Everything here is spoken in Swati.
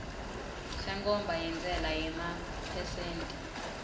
senkhomba yentsela yemaphesenthi